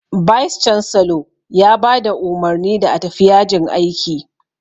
"Vice chancellor" ya ba da umarni da a tafi yajin aiki